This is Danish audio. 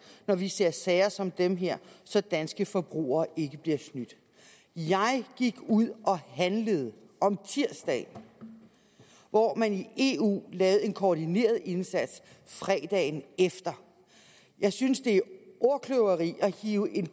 når vi ser sager som den her så danske forbrugere ikke bliver snydt jeg gik ud og handlede om tirsdagen hvor man i eu lavede en koordineret indsats fredagen efter jeg synes det er ordkløveri at hive en